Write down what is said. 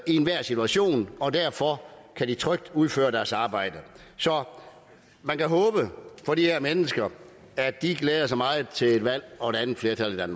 enhver situation og derfor kan de trygt udføre deres arbejde så man kan håbe for de her mennesker at de glæder sig meget til et valg og et andet flertal